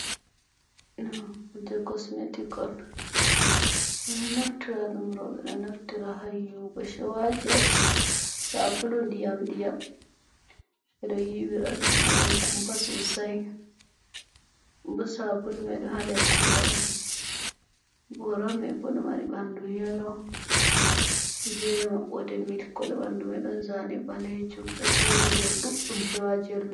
Kuje kosmetic on. Ɓe ɗo naftira ɗum, rowɓe ɗo naftira haa yiwugo. Showajels sabulu ndiyam-ndiyam. Ɓe ɗo yiwira ɗum. Ɗo mari kumpa sosai, bo saabulu mai ɗo haa nder gora on. Gora mai bo ɗo mari ɓandu yelo be maɓɓoode mil kolo. Ɓandu mai ɗon zaane ɓalejum, ɗo jeri nder showajels mai.